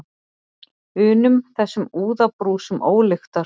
unum, þessum úðabrúsum ólyktar.